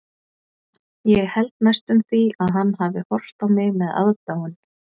Ég held næstum því að hann hafi horft á mig með aðdáun.